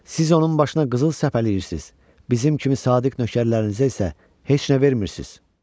"Siz onun başına qızıl səpələyirsiniz, bizim kimi sadiq nökərlərinizə isə heç nə vermirsiniz."